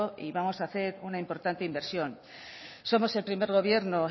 y vamos a hacer una importante inversión somos el primer gobierno